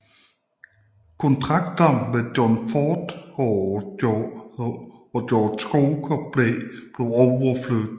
Kontrakter med John Ford og George Cukor blev overflyttet